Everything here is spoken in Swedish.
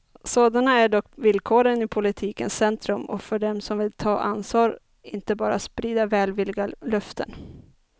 Sådana är dock villkoren i politikens centrum och för dem som vill ta ansvar, inte bara sprida välvilliga löften.